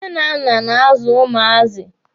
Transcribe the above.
Nne na nna na-azụ ụmụazị.